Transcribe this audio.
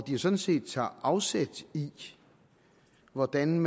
de jo sådan set tager afsæt i hvordan